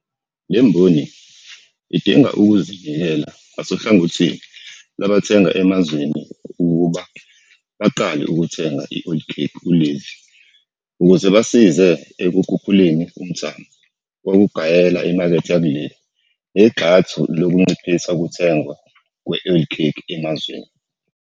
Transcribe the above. Le mboni idinga ukuzinikela ngasohlangothini lwabathenga emazweni ukuba baqale ukuthenga i-oilcake kuleli ukuze basize ekukhuphuleni umthamo wokugayela imakethe yakuleli negxathu lokunciphisa ukuthengwa kwe-oilcake emazweni.